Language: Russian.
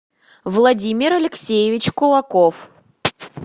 владимир алексеевич кулаков